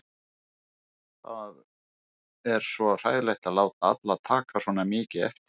Það er svo hræðilegt að láta alla taka svona mikið eftir sér.